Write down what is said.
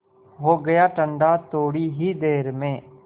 हो गया ठंडा थोडी ही देर में